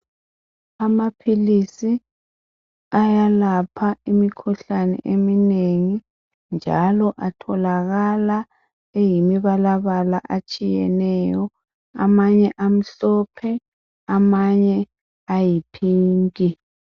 Amaphilisi ayalapha imikhuhlane eminengi njalo atholakala eyimi balabala atshiyeneyo. Amanye amhlophe amanye ayi pink